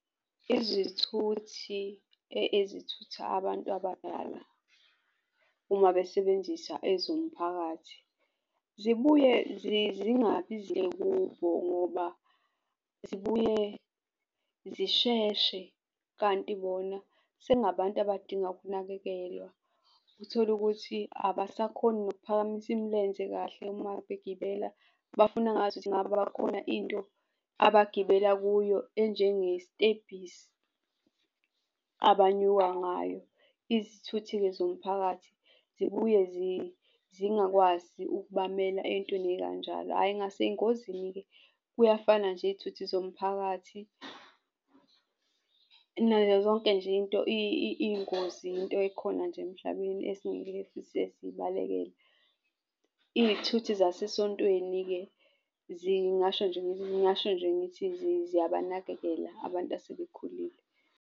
Izithuthi ezithutha abantu abadala uma besebenzisa ezomphakathi, zibuye zingabizebuko ngoba zibuye zisheshe. Kanti bona sekungabantu abadinga ukunakekelwa, othole ukuthi abasakhoni nokuphakamisa imilenze kahle uma begibela, bafuna ngazuthi kungabakhona into abagibela kuyo enjengestebhisi abanyuka ngayo. Izithuthi-ke zomphakathi zibuye zingakwazi ukubamela ey'ntweni ey'kanjalo. Hhayi ngasey'ngozini-ke kuyafana nje iy'thuthi zomphakathi nazo zonke nje into iy'ngozi into ekhona nje emhlabeni esingeke size siyibalekele. Izithuthi zasesontweni-ke zingasho nje, ngingasho nje ngithi ziyabanakekela abantu asebekhulile.